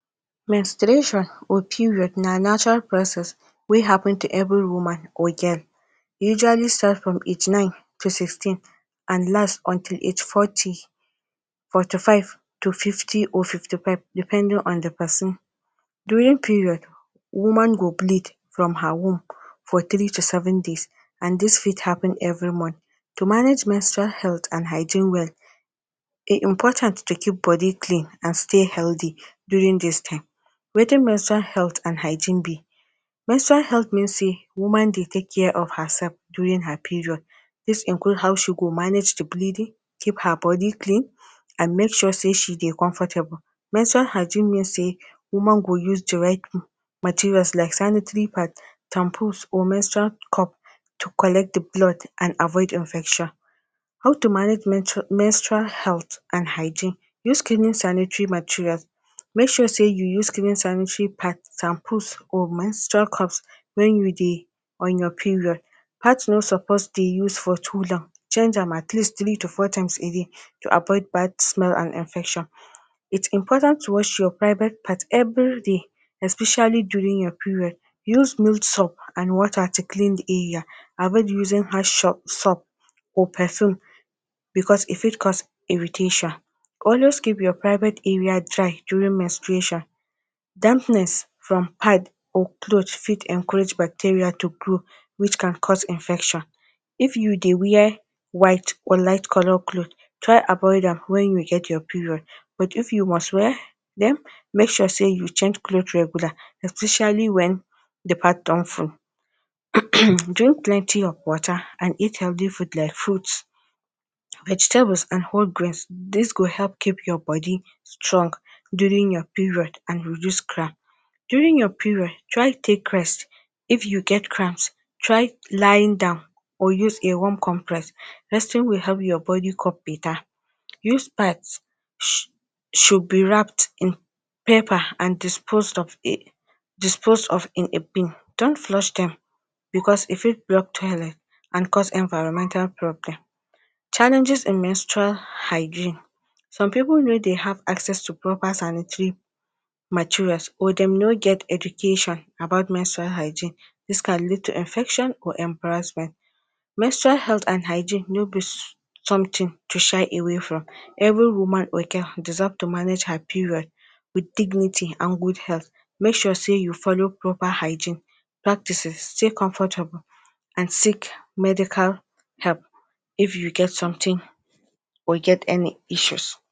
Menstruation or period na Natural process wey happun to evri woman or girl, e usually starts from age nine to sixteen and last until age forty, forty-five to fifty or fifty five, depending on di pesin. During period woman go bleed from her womb for three to seven days and dis fit happun evri month. To manage menstrual health and hygiene well, e important to keep body clean and stay healthy during dis time. Wetin menstrual health and hygiene be? Menstrual health mean say woman dey take care of her sef during her period dis includes how she go manage di bleeding, keep her body clean, and make sure say she dey comfortable. Menstrual hygiene mean say woman go use di right material like sanitary pads, tampon or menstrual cup to collect di blood and avoid infection. How to manage menstrual health and hygiene? Use clean sanitary materials, make sure say you use clean sanitary pads, tampons or menstrual cups wen you dey on your period. Pads no supposed dey use for too long, change am at least three to four times a day to avoid bad smell and infection. It important to wash your private parts everyday especially during your period. Use null soaps water to clean di area. Avoid using hard soaps or perfume bicos e fit cause irritation. Always keep your private area dry during menstruation. Dampness from pads or clothes fit encourage bacteria to grow which can cause infection. If you dey wear white, or light color clothes, try avoid am wen you get your period, but if you must wear? Den make sure say you change clothes regular. Especially wen di pad don full. Drink plenty of water and eat healthy foods like fruits, vegetables and whole grains. Dis go help keep your body strong during your period and reduce cramp. During your period try take rest if you get cramps try lying down or use a warm compress, resting will help your body cup betta. Used pads should be wrapped in paper and dispose off in a bin don't flush dem, bicos e fit block toilet and cause environmental problems. Challenges in menstrual hygiene. Dome pipo no dey hace access to proper sanitary materials or dem no get education about menstrual hygiene, dis can leads to infection or embarrassment. Menstrual health and hygiene nobi somtin to shy away from evri woman or girl deserve to manage her period wit dignity and good health. Make sure say you follow proper hygiene practices, stay comfortable and seek medical help if you get somtin or get any issues.